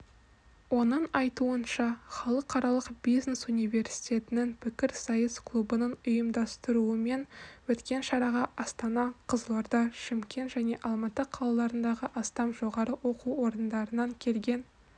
оның айтуынша халықаралық бизнес университетінің пікірсайыс клубының ұйымдастыруымен өткен шараға астана қызылорда шымкент және алматы қалаларындағы астам жоғары оқу орындарынан келген